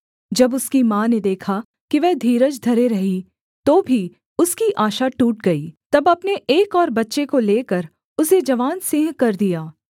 जब उसकी माँ ने देखा कि वह धीरज धरे रही तो भी उसकी आशा टूट गई तब अपने एक और बच्चे को लेकर उसे जवान सिंह कर दिया